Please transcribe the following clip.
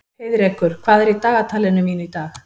Heiðrekur, hvað er í dagatalinu mínu í dag?